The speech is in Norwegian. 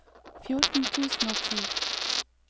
fjorten tusen og ti